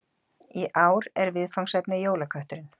Í ár er viðfangsefnið Jólakötturinn